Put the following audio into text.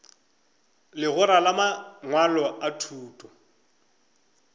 legora la mangwalo a thuto